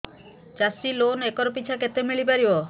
ଚାଷ loan acre ପିଛା କେତେ ମିଳି ପାରିବ